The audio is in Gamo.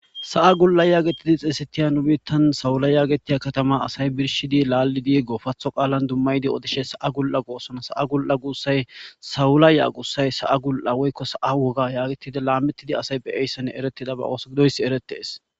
Sa'a gul'a yaagetidi xiesetiya nu biittan sawula yaagetiya katama asay birshidi laal7idi gofatho qaalan dummaydi odishe sa7a gul7a goossona sa'a gul'a guussay sawula ya'a guussay sa'a gul'a woykko sa'a woga yaagetide laammetidi asay beyeyssene eretida ba ooso gidoys eretees.